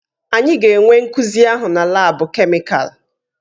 Anyị ga-enwe nkuzi ahụ na laabu kemịkalụ.